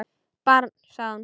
Barn, sagði hún.